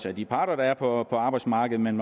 af de parter der er på arbejdsmarkedet men